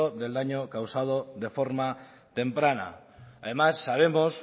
del daño causado de forma temprana además sabemos